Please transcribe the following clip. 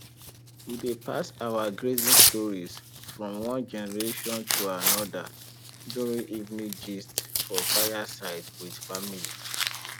we dey pass our grazing stories from one generation to another during evening gist for fireside with family